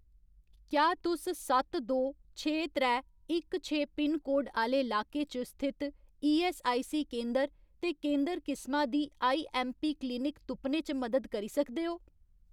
क्या तुस सत्त दो छे त्रै इक छे पिनकोड आह्‌ले लाके च स्थित ईऐस्सआईसी केंदर ते केंदर किसमा दी आईऐम्मपी क्लिनिक तुप्पने च मदद करी सकदे ओ ?